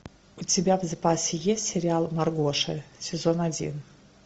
у тебя в запасе есть сериал маргоша сезон один